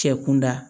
Cɛ kun da